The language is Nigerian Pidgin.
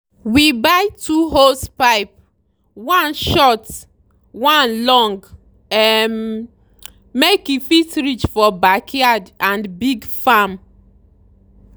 we buy two hosepipe – one short one long – um make e fit reach for backyard and big farm.